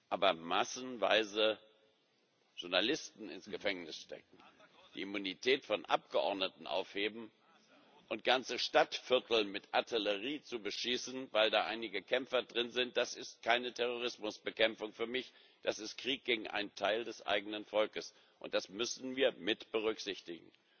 Aber massenweise Journalisten ins Gefängnis zu stecken, die Immunität von Abgeordneten aufzuheben und ganze Stadtviertel mit Artillerie zu beschießen, weil da einige Kämpfer drin sind, das ist für mich keine Terrorismusbekämpfung das ist Krieg gegen ein Teil des eigenen Volkes, und das müssen wir mitberücksichtigen.